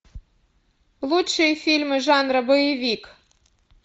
лучшие фильмы жанра боевик